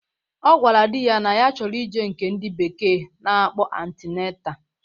Ọ gwara di ya na ya chọrọ ije nke ndị bekee na-akpọ antinata